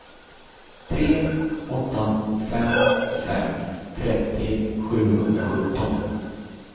tre åtta fem fem trettio sjuhundrasjutton